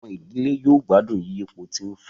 Àwọn ìdílé yóò gbádùn yiyipo tí ń fò